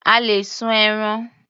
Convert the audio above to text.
A lè sun ẹran.